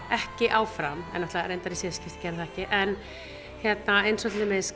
ekki áfram en náttúrulega í síðasta skipti gerði það ekki en hérna eins og til dæmis